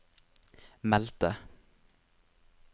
meldte